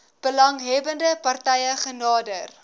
belanghebbende partye genader